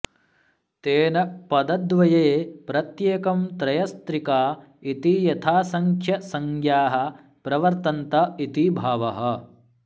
तेन पदद्वये प्रत्येकं त्रयस्त्रिका इतियथासंङ्ख्यं संज्ञाः प्रवर्तन्त इति भावः